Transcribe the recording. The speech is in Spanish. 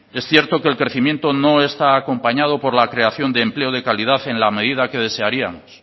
es cierto que el crecimiento no está acompañado por la creación de empleo de calidad en la medida que desearíamos